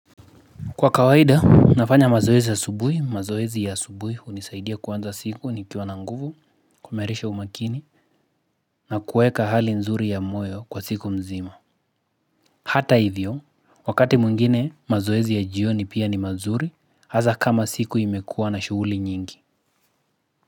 Kwa kawaida, nafanya mazoezi asubui, mazoezi asubui hunisaidia kuanza siku nikiwa na nguvu, kuimarisha umakini, na kueka hali nzuri ya moyo kwa siku mzima. Hata hivyo, wakati mwingine mazoezi ya jioni pia ni mazuri, haza kama siku imekua na shughuli nyingi.